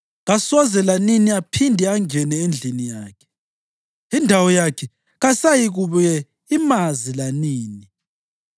Kasoze lanini aphinde angene endlini yakhe; indawo yakhe kayisayikubuye imazi lanini.